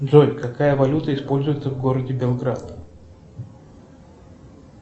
джой какая валюта используется в городе белград